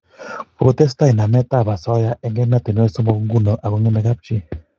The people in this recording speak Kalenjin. Kokotestai namet ab asoya eng' emetanwek somok nguno ako ngemei kapchii